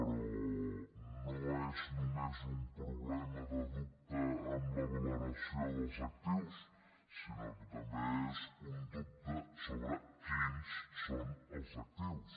però no és només un problema de dubte amb la valoració dels actius sinó que també és un dubte sobre quins són els actius